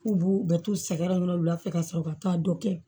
K'u b'u bɛ t'u sɛgɛrɛ wulafɛ ka sɔrɔ ka taa dɔ kɛ